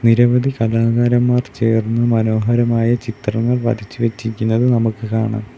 നിരവധി കലാകാരന്മാർ ചേർന്ന് മനോഹരമായ ചിത്രങ്ങൾ വരച്ച് വെച്ചിരിക്കുന്നത് നമുക്ക് കാണാം.